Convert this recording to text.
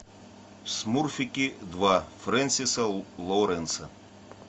смурфики два френсиса лоуренса